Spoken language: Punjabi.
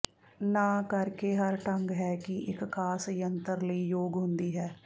ਨਾ ਕਰਕੇ ਹਰ ਢੰਗ ਹੈ ਕਿ ਇੱਕ ਖਾਸ ਜੰਤਰ ਲਈ ਯੋਗ ਹੁੰਦੀ ਹੈ